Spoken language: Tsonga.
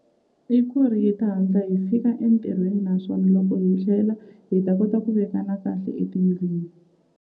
I ku ri hi ta hatla hi fika entirhweni naswona loko hi tlhela hi ta kota ku vekana kahle etindlwini.